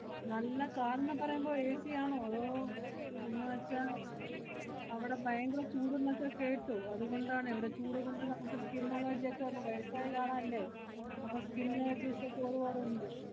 നല്ല car ന്ന് പറയുമ്പോ AC യാണോ അതോ എന്നുവെച്ചാ അവടെ ഭയങ്കര ചൂടെന്നൊക്കെ കേട്ടു, അതുകൊണ്ടാണ്. ഇവടെ ചൂട് കൊണ്ട് നമ്മക്ക് skin allergy ക്കെ. ~പ്പം വയസ്സായ ആളല്ലേ? അപ്പ skin allergies ഒക്കെ ഒരുപാട് ഒണ്ട്.